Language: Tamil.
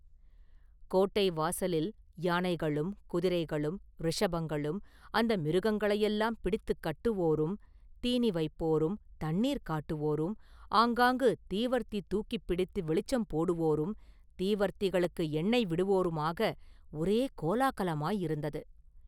கோட்டை வாசலில் யானைகளும், குதிரைகளும், ரிஷபங்களும், அந்த மிருகங்களையெல்லாம் பிடித்துக் கட்டுவோரும், தீனி வைப்போரும், தண்ணீர் காட்டுவோரும், ஆங்காங்கு தீவர்த்தி தூக்கிப் பிடித்து வெளிச்சம் போடுவோரும், தீவர்த்திகளுக்கு எண்ணெய் விடுவோருமாக, ஒரே கோலாகலமாயிருந்தது.